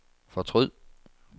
fortryd